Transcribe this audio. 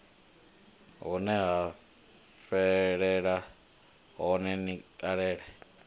huneya fhelela hone ni talele